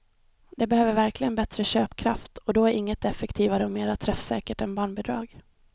De behöver verkligen bättre köpkraft och då är inget effektivare och mera träffsäkert än barnbidrag.